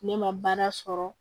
Ne ma baara sɔrɔ